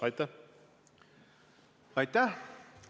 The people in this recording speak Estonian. Aitäh!